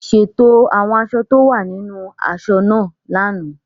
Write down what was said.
Ṣètò àwọn aṣọ tí ó wà nínú aṣọ náà lánàá.